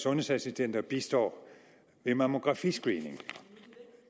sundhedsassistenter bistår ved mammografiscreening